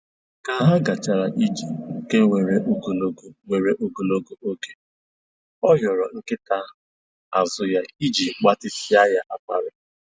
Ka ha gachara ije nke weere ogologo weere ogologo oge, ọ hịọrọ nkịta azụ ya iji gbatịsịa ya akwara